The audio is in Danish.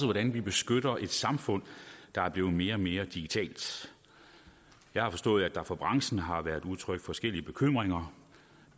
hvordan vi beskytter et samfund der er blevet mere og mere digitalt jeg har forstået at der fra branchen har været udtrykt forskellige bekymringer